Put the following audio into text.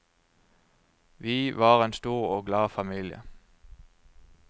Vi var en stor og glad familie.